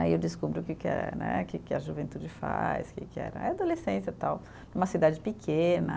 Aí eu descubro que que é, né, que que a juventude faz, que que era, a adolescência, tal, uma cidade pequena.